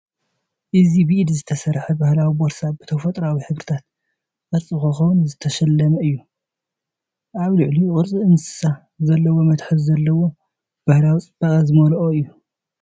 እዚ ብኢድ ዝተሰርሐ ባህላዊ ቦርሳ፡ ብተፈጥሮኣዊ ሕብርታትን ቅርጺ ኮኾብን ዝተሰለመ እዩ። ኣብ ልዕሊኡ ቅርጺ እንስሳ ዘለዎ መትሓዚ ዘለዎ፡ ባህላዊ ጽባቐ ዝመልአ እዩ።